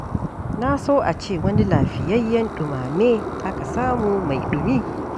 Na so a ce wani lafiyayyen ɗumame aka samu mai ɗumi.